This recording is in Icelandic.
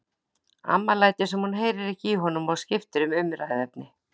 Amma lætur sem hún heyri ekki í honum og skiptir um umræðuefni.